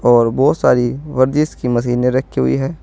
और बहुत सारी वर्जिस की मशीने रखी हुई हैं।